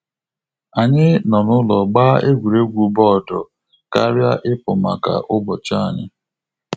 Anyị nọ n'ụlọ gba egwuregwu bọọdụ karịa ipu maka ụbọchị anyi